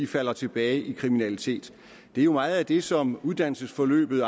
falder tilbage i kriminalitet det er jo meget af det som uddannelsesforløbet